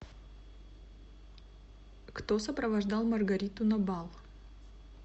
кто сопровождал маргариту на бал